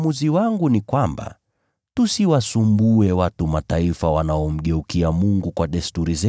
“Kwa hivyo uamuzi wangu ni kwamba, tusiwataabishe watu wa Mataifa wanaomgeukia Mungu.